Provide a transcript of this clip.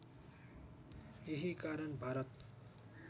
यही कारण भारत